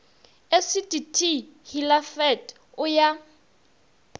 esiti t hilafat o ya